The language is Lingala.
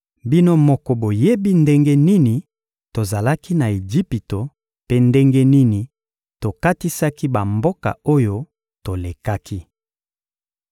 Bino moko boyebi ndenge nini tozalaki na Ejipito mpe ndenge nini tokatisaki bamboka oyo tolekaki.